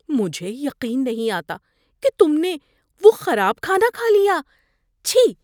مجھے یقین نہیں آتا کہ تم نے وہ خراب کھانا کھا لیا۔ چھی!